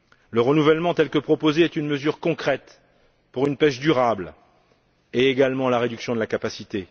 Le renouvellement, tel que proposé, est une mesure concrète, pour une pêche durable et également pour la réduction de la capacité.